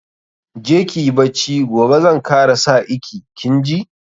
Je kiyi bacci, gobe zan kara sa iki, kin ji.